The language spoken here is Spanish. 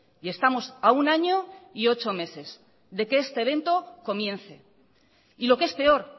y estamos a un año y ocho meses de que este evento comience y lo que es peor